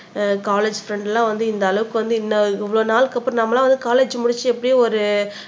college friend எல்லாம் வந்து இந்த அளவுக்கு வந்து இன்ன இவ்வளவு நாளுக்கு அப்புறம் நம்மெல்லாம் வந்து காலேஜ் முடிச்சு எப்படியும் ஒரு